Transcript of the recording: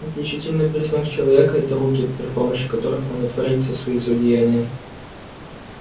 отличительный признак человека это руки при при помощи которых он и творит все свои злодеяния